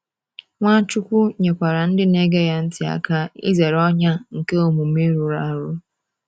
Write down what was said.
Nwachukwu nyekwara ndị na-ege ya ntị aka izere ọnyà nke omume rụrụ arụ.